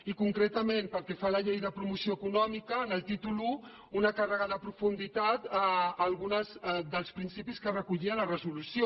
i concretament pel que fa a la llei de promoció econòmica en el títol i una càrrega de profunditat a alguns dels principis que recollia la resolució